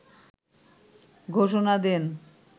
ঘোষণা দেন